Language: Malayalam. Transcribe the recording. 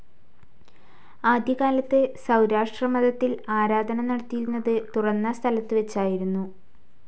ആദ്യകാലത്തു സൗരാഷ്ട്രമതത്തിൽ ആരാധന നടത്തിയിരുന്നത് തുറന്ന സ്ഥലത്തു വെച്ചായിരുന്നു